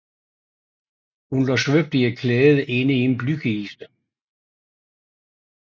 Hun lå svøbt i et klæde inde i en blykiste